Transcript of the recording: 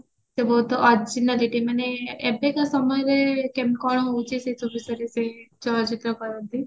ସେ ବହୁତ ମାନେ ଏବେକା ସମୟରେ କେମ କଣ ହଉଚି ସେ ସବୁ ବିଷୟରେ ସେ ଚଳଚିତ୍ର କରନ୍ତି